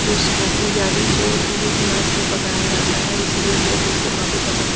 जो स्मोकी यानी जो धुएँ की आँच में पकाया जाता है इसलिए लोग उसको काफी पसंद--